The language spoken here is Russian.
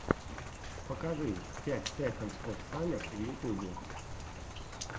покажи пять секондс оф саммер в ютубе